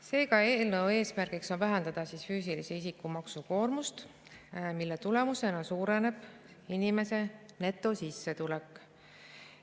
Seega on eelnõu eesmärgiks vähendada füüsilise isiku maksukoormust, mille tulemusena suureneb inimeste netosissetulek.